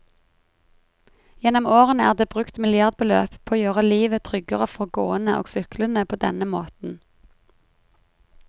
Gjennom årene er det brukt milliardbeløp på å gjøre livet tryggere for gående og syklende på denne måten.